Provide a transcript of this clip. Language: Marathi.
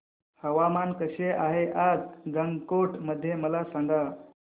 हवामान कसे आहे आज गंगटोक मध्ये मला सांगा